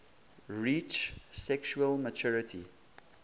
reach sexual maturity